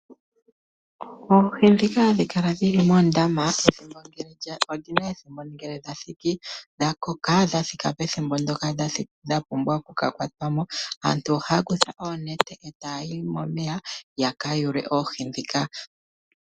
Oohi ndhika hadhi kala dhili moondama odhina ethimbo lyadho ngele lyathiki dha koka dhathika pethimbo ndyoka dha pumbwa oku kakwatwa mo. Aantu ohaya kutha oonete etayi momeya yaka yulemo oohi ndhika.